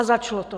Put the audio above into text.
A začalo to.